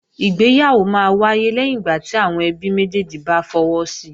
Ìgbéyàwó máa wáyé lẹ́yìn ìgbà tí àwọn ẹbí méjèjì bá fọwọ́ si